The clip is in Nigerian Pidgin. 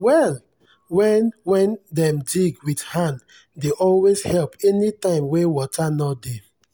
well wen wen dem dig wit hand dey always help anytim wen wata nor dey.